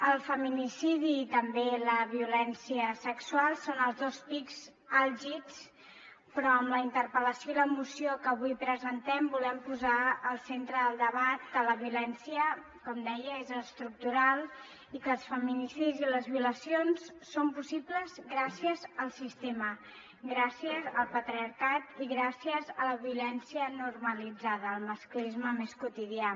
el feminicidi i també la violència sexual són els dos pics àlgids però amb la interpel·lació i la moció que avui presentem volem posar al centre del debat que la violència com deia és estructural i que els feminicidis i les violacions són possibles gràcies al sistema gràcies al patriarcat i gràcies a la violència normalitzada el masclisme més quotidià